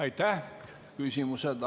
Aitäh!